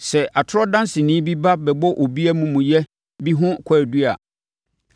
Sɛ atorɔ danseni bi ba bɛbɔ obi amumuyɛ bi ho kwaadu a,